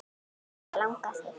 Hvað langar þig?